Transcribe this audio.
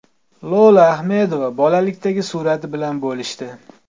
Lola Ahmedova bolalikdagi surati bilan bo‘lishdi.